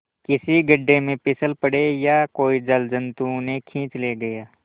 किसी गढ़े में फिसल पड़े या कोई जलजंतु उन्हें खींच ले गया